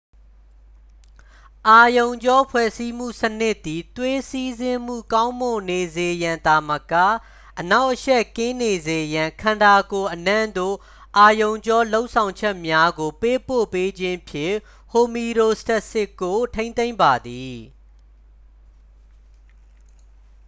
အာရုံကြောဖွဲ့စည်းမှုစနစ်သည် သွေးစီးဆင်းမှုကောင်းမွန်နေစေရန်သာမက အနှောင့်အယှက်ကင်းနေစေရန် ခန္ဓာကိုယ်အနှံ့သို့ အာရုံကြောလှုံ့ဆော်ချက်များကိုပေးပို့ပေးခြင်းဖြင့် ဟိုမီရိုစတက်စစ်ကို ထိန်းသိမ်းပါသည်